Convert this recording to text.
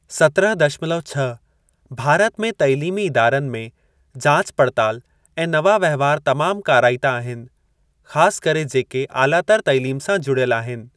सत्रहं दशमलव छह भारत में तइलीमी इदारनि में जाच पड़ताल ऐं नवां वहिंवार तमामु काराइता आहिनि, ख़ासि करे जेके आलातर तइलीम सां जुड़ियल आहिनि।